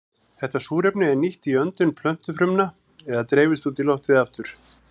Þetta súrefni er nýtt í öndun plöntufrumna eða dreifist út í loftið aftur.